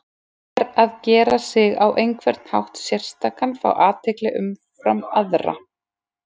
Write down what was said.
Þá er að gera sig á einhvern hátt sérstakan, fá athygli umfram aðra.